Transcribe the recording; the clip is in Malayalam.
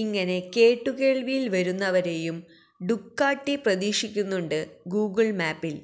ഇങ്ങനെ കേട്ടുകേള്വിയില് വരുന്നവരെയും ഡുകാട്ടി പ്രതീക്ഷിക്കുന്നുണ്ട് ഗൂഗിള് മാപ്പില്